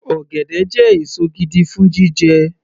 Ọ̀gẹ̀dẹ̀ jẹ́ èso gidi fún jíjẹ